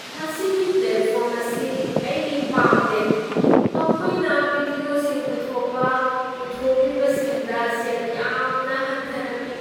ꯃꯁꯤꯒꯤ ꯄ꯭ꯂꯦꯠꯐꯣꯔꯝ ꯑꯁꯤ ꯑꯩ ꯄꯥꯝꯗꯦ꯫ ꯃꯈꯣꯏꯅ ꯚꯤꯗꯤꯑꯣꯁꯤꯡ ꯄꯨꯊꯣꯛꯄ ꯄꯨꯊꯣꯛꯂꯤꯕꯁꯤꯡꯗ ꯁꯦꯜ ꯌꯥꯝꯅ ꯍꯟꯊꯅ ꯄꯤ꯫